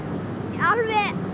alveg